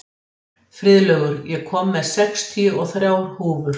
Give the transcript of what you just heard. Friðlaugur, ég kom með sextíu og þrjár húfur!